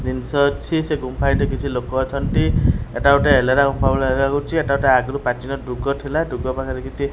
ଜିନଷ ଅଛି ସେ ଗୁମ୍ଫା ସେଠି କିଛି ଲୋକ ଅଛନ୍ତି ଏଇଟା ଗୋଟେ ଏଲୋରା ଗୁମ୍ଫା ଭଳି ଲାଗୁଚି ଏଟା ଆଗରୁ ଗୋଟେ ପ୍ରାଚୀନ ଦୁର୍ଗ ଥିଲା ଦୁର୍ଗ ବହାରେ କିଛି --